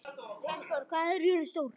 Melkíor, hvað er jörðin stór?